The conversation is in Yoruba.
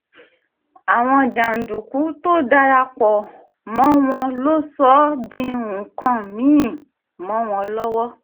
àwọn jàǹdùkú tó dara pọ̀ mọ́ wọn ló sọ ọ́ di nǹkan mì-ín mọ́ wọn lọ́wọ́